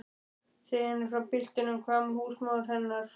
Segja henni frá piltinum? hváði húsmóðir hennar.